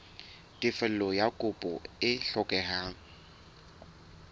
tefello ya kopo e hlokehang